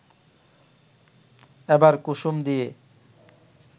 এবার কুসুম দিয়ে